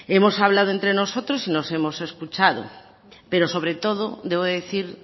hemos hablado entre nosotros y nos hemos escuchado pero sobre todo debo decir